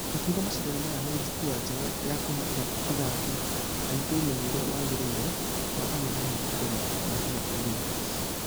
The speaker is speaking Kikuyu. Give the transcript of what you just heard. Akĩuga mashidano maya nĩ jukwa jega ya kũhe athaki aitũ ũmenyo ũrĩa wagereire wa angethanĩri mbere ya mathiete olympics.